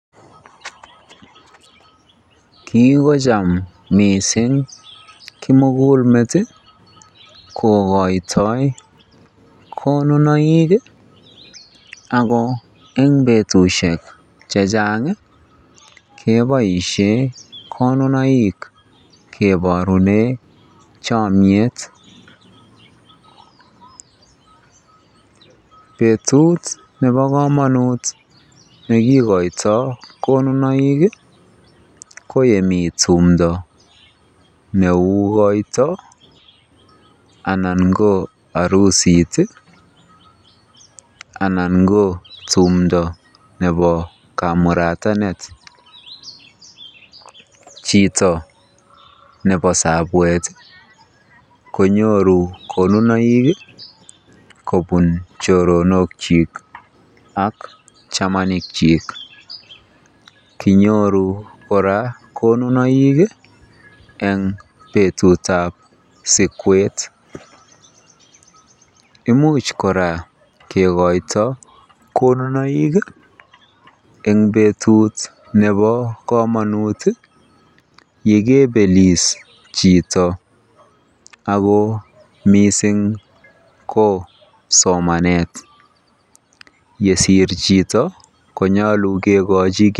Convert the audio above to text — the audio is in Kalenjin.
Kikocham mising kimukulmet kokoitoi konunoik ak ko eng betushek chechang keboishen konunoik keborune chomnyet, betut nebo komonut nekikoitoi konunoik ko yemii tumndo neuu koito anan ko arusit anan ko tumndo nebo kamuratanet, chito nebo sabwet konyoru konunoik kobun choronokyik ak chamanikyik, kinyoru kora konunoik eng betutab sikwet, imuch kora kikoito konunoik en betut nebo komonut yekeibelis chito ak ko mising ko somanet, yesir chito konyolu kikochi kii.